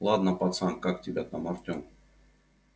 ладно пацан как тебя там артем